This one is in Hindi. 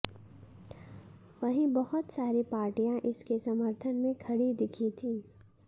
वहीं बहुत सारी पार्टियां इसके समर्थन में खड़ी दिखीं थी